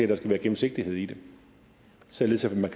der skal være gennemsigtighed i det således at man